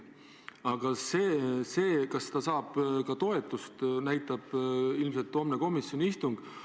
Seda, kas see ettepanek saab toetust, näitab ilmselt homne komisjoni istung.